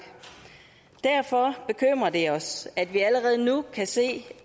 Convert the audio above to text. derfor bekymrer det os at vi allerede nu kan se